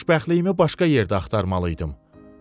Xoşbəxtliyimi başqa yerdə axtarmalı idim.